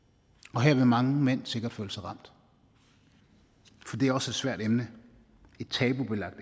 og her vil mange mænd sikkert føle sig ramt for det er også et svært emne et tabubelagt